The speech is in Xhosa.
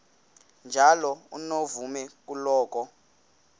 njalo unomvume kuloko